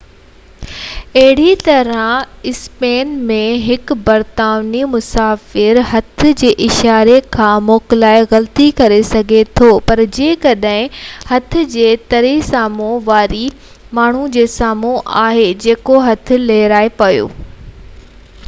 اهڙي طرح، اسپين ۾ هڪ برطانوي مسافر هٿ جي اشاري کان موڪلائي غلطي ڪري سگهي ٿو پر جيڪڏهن هٿ جي تري سامهون واري ماڻهو جي سامهون آهي جيڪو هٿ لهرائي پيو اهو واپس اچڻ جو اشارو آهي